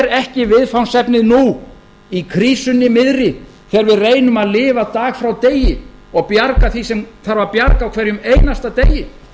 ekki viðfangsefnið nú í krísunni miðri þegar við reynum að lifa dag frá degi og bjarga því sem þarf að bjarga á hverjum einasta degi